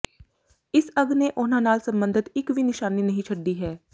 ਇਸ ਅੱਗ ਨੇ ਉਨ੍ਹਾਂ ਨਾਲ ਸਬੰਧਤ ਇਕ ਵੀ ਨਿਸ਼ਾਨੀ ਨਹੀਂ ਛੱਡੀ ਹੈ